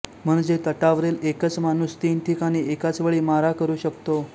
म्हणजे तटावरील एकच माणूस तीन ठिकाणी एकाच वेळी मारा करू शकतो